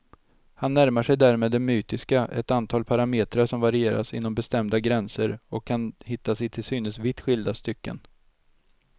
Han närmar sig därmed det mytiska, ett antal parametrar som varieras inom bestämda gränser och kan hittas i till synes vitt skilda stycken.